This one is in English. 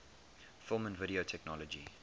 film and video technology